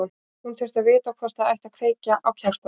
Hún þurfti að vita hvort það ætti að kveikja á kertum.